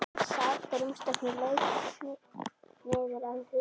Hann sat á rúmstokkinn og laut niður að Hugrúnu.